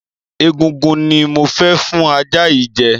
Egungun ni mo fẹ́ fún ajá yìí jẹ.